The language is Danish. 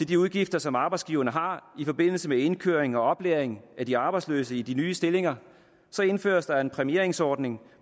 de udgifter som arbejdsgiverne har i forbindelse med indkøring og oplæring af de arbejdsløse i de nye stillinger indføres der en præmieringsordning